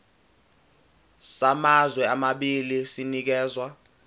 samazwe amabili sinikezwa